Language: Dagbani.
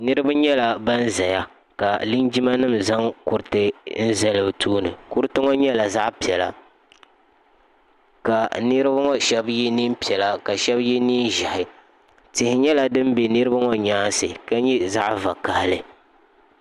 niriba nyɛ ban ʒɛya ka minima zaŋ kuritɛ zali be tuuni kuriti ŋɔ nyɛla zaɣ' piɛla ka niriba ŋɔ shɛba yɛ nɛɛ piɛlla ka shɛb yɛ nɛɛ ʒiɛhi tihi nyɛla din bɛ niriba ŋɔ nyɛnsi ka nyɛ zaɣ' vakahili